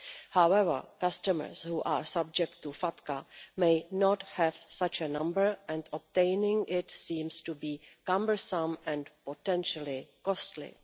However, customers who are subject to FATCA may not have such a number, and obtaining it seems to be cumbersome and potentially costly.